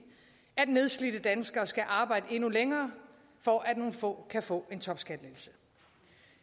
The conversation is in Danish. at nedslidte danskere skal arbejde endnu længere for at nogle få kan få en topskattelettelse